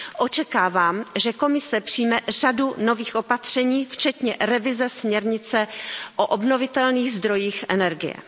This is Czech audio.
Očekávám, že Komise přijme řadu nových opatření včetně revize směrnice o obnovitelných zdrojích energie.